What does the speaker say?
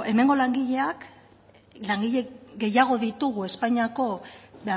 hemengo langileak langile gehiago ditugu espainiako